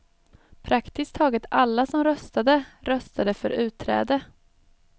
Praktiskt taget alla som röstade röstade för utträde.